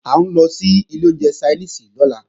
À ń lọ sí ilé oúnjẹ Ṣainíìsì lọ́la